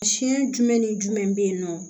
Siɲɛ jumɛn ni jumɛn bɛ yen nɔ